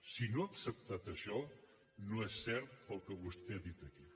si no ha acceptat això no és cert el que vostè ha dit aquí